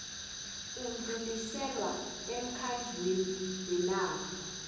udluliselwe emkhandlwini wenarha